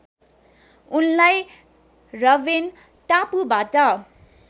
उनलाई रबेन टापुबाट